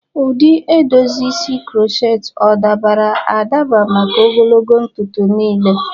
Ụdị edozi isi crochet o dabara adaba maka ogologo ntutu niile?